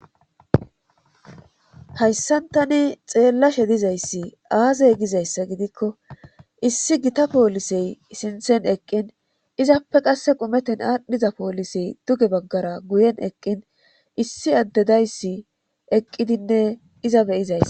Hayssantani xeellashe dizayssi aazey gizayssa gidikko issi gita poolisey sinthen eqqin izappe qasse qumeten aadhdhiza poolisey duge baggara guyen eqqin issi addedayssi eqqidinne iza beyizays.